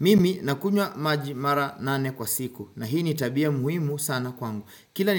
Mimi nakunywa maji mara nane kwa siku na hii nitabia muhimu sana kwangu. Kila